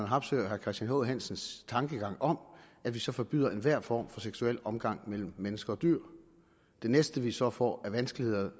harpsøes og herre christian h hansens tankegang om at vi så forbyder enhver form for seksuel omgang mellem mennesker og dyr det næste vi så får vanskeligt ved